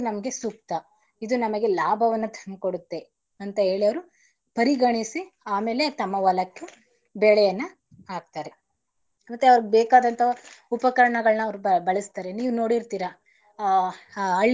ಇದು ನಮ್ಗೆ ಸೂಕ್ತ ಇದು ನಮಗೆ ಲಾಭವನ್ನ ತಂದಕೊಡುತ್ತೇ ಅಂತ ಹೇಳಿ ಅವರು ಪರಿಗಣಿಸಿ ಆಮೇಲೆ ತಮ್ಮ ಹೊಲಕ್ಕೆ ಬೆಳೆಯನ್ನ ಹಾಕ್ತರೆ ಮತ್ತೆ ಅವ್ರಗ್ ಬೇಕಾದಂತ ಉಪಕರಣಗಳನ್ನ ಅವರು ಬಳಸ್ತಾರೆ ನೀವ್ ನೋಡ್ತೀರಾ ಹಳ್ಳಿ.